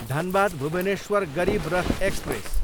Dhanbad, Bhubaneswar Garib Rath express